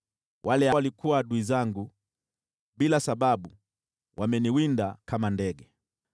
Wale waliokuwa adui zangu bila sababu wameniwinda kama ndege.